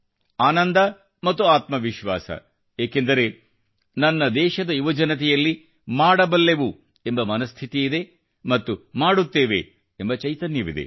ಆನಂದ ಮತ್ತು ಆತ್ಮವಿಶ್ವಾಸ ಏಕೆಂದರೆ ನನ್ನ ದೇಶದ ಯುವಜನತೆಯಲ್ಲಿ ಮಾಡಬಲ್ಲೆವು ಎಂಬ ಮನಸ್ಥಿತಿಯಿದೆ ಮತ್ತು ಮಾಡುತ್ತೇವೆ ಎಂಬ ಚೈತನ್ಯವಿದೆ